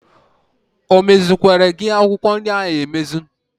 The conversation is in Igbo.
O mezikwere gị akwụkwọ nri ahụ emezi?